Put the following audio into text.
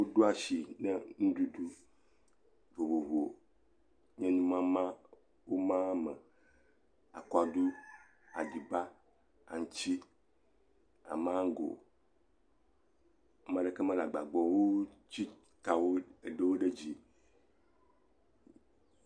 Woɖo asi ne nuɖuɖu vovovo le numama me, akaɖu, aɖiba, aŋuti, maŋgo. Ame aɖeke mele agba gbɔ o wo ŋuti tae woɖo wo ɖe dzi.